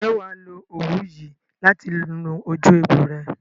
Ǹjẹ́ wà á lo òwú yìí láti nu ojú ẹgbò rẹ?